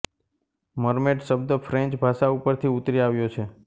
mermaid શબ્દ French ભાષા પરથી ઉતરી આવ્યો છે